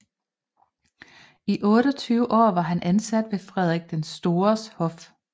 I 28 år var han ansat ved Frederik den Stores hof